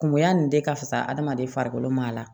Kungoya nin de ka fisa adamaden farikolo ma a la